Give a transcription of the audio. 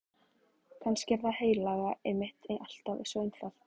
Kannski er það heilaga einmitt alltaf svo einfalt.